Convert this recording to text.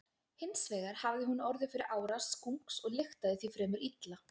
Hins vegar hafði hún orðið fyrir árás skunks og lyktaði því fremur illa.